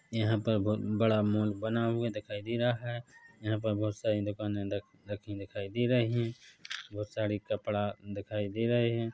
यहां पर बहुत बड़ा मॉल बना हुआ दिखाई दे रहा है यहाँ पर बहुत सारी दुकाने बनी दिखाई दे रही है बहुत सारे कपड़ा दिखाई दे रहे है।